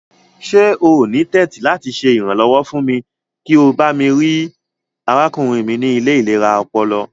Ṣe o ni tẹ̀tì lati ṣe iranlọwọ fún mi kí o bami rii arákúnrin mi ni ile ilera ọpọlọ?